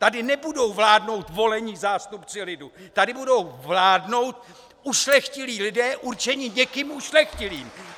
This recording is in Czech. Tady nebudou vládnout volení zástupci lidu, tady budou vládnout ušlechtilí lidé určení někým ušlechtilým!